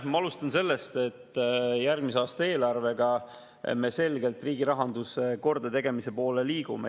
Ma alustan sellest, et järgmise aasta eelarvega me liigume selgelt riigi rahanduse kordategemise poole.